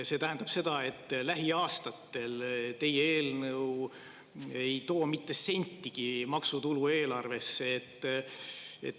See tähendab, et lähiaastatel ei too teie eelnõu eelarvesse mitte sentigi maksutulu.